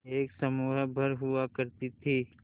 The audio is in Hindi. एक समूह भर हुआ करती थी